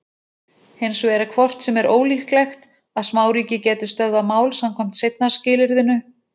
Hins vegar er hvort sem er ólíklegt að smáríki gætu stöðvað mál samkvæmt seinna skilyrðinu.